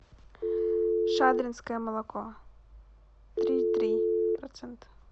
шадринское молоко три и три процента